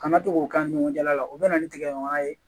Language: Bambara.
Kana to k'o k'an ni ɲɔgɔn cɛla la u bɛ na ni tigɛ ɲɔgɔnya ye